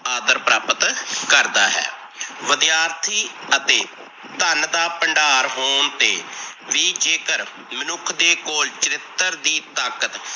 ਆਦਰ ਪ੍ਰਾਪਤ ਕਰਦਾ ਹੈ। ਵਿਦਿਆਰਥੀ ਅਤੇ ਧਨ ਦਾ ਭੰਡਾਰ ਹੋਣ ਤੇ ਵੀ ਜੇਕਰ ਮਨੁੱਖ ਦੇ ਕੋਲ ਚਰਿਤਰ ਦੀ ਤਾਕਤ